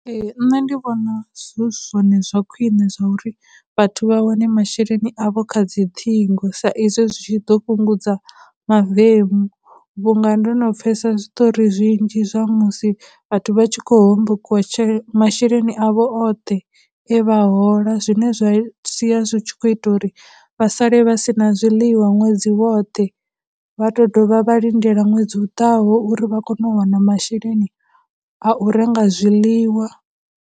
Ee, nṋe ndi vhona zwi zwone zwa khwine zwa uri vhathu vha wane masheleni avho kha dziṱhingo sa izwi zwi tshi ḓo fhungudza mavemu, vhunga ndo no pfhesa zwiṱori zwinzhi zwa musi vhathu vha tshi khou hombokiwa , masheleni avho oṱhe e vha hola zwine zwa sia zwi tshi khou ita uri vha sale vha sina zwiḽiwa ṅwedzi woṱhe vha tou dovha vha lindela ṅwedzi u ḓaho uri vha kone u wana masheleni a u renga zwiḽiwa.